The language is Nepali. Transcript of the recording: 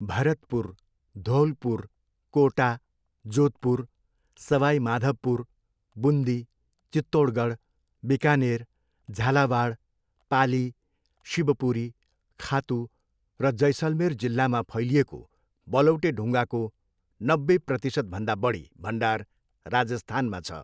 भरतपुर, धौलपुर, कोटा, जोधपुर, सवाई माधवपुर, बुन्दी, चित्तौडगढ, बिकानेर, झालावाड, पाली, शिवपुरी, खातु र जैसलमेर जिल्लामा फैलिएको बलौटे ढुङ्गाको नब्बे प्रतिशतभन्दा बढी भण्डार राजस्थानमा छ।